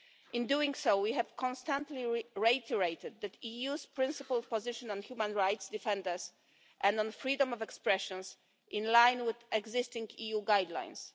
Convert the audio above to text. In doing so, we have constantly reiterated the EU's principled position on human rights defenders and on freedom of expressions, in line with existing EU guidelines.